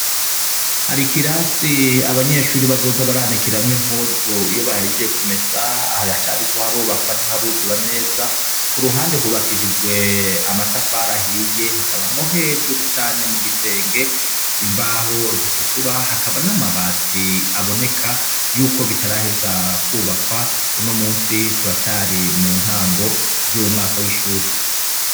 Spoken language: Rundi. Harikirasi abanyeshuri bazoza baranekiramwo impuzu iyo bahijye kumesa hari acariko harobakwa ntiharuzura neza ku ruhande hubakishijwe amatafarahiye hakabamwo hejuru cane mu gisenge imbaho zitukura hakaba n'amabati aboneka yuko bitarahe zaku bakwa uno musi turacari mu ntango z'umwaka w'ishuri.